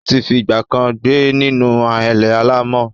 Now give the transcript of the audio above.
Ó ti fi ìgbà kan rí gbé nínú ahéré alàmọ̀.